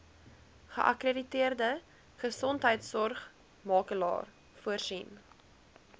geakkrediteerde gesondheidsorgmakelaar voorsien